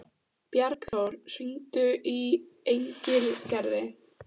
Bjargþór, hringdu í Engilgerði.